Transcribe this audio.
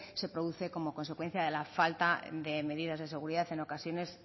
se produce como consecuencia de la falta de medidas de seguridad en ocasiones